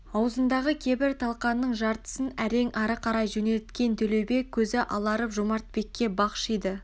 аузындағы кебір талқанның жартысын әрең ары қарай жөнелткен төлеубек көзі аларып жомартбекке бақшиды